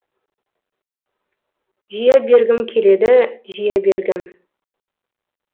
жия бергім келеді жия бергім